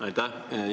Aitäh!